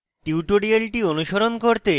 tutorial অনুসরণ করতে